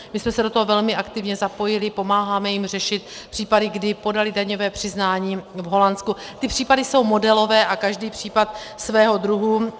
My jsme se do toho velmi aktivně zapojili, pomáháme jim řešit případy, kdy podali daňové přiznání v Holandsku, ty případy jsou modelové a každý případ svého druhu.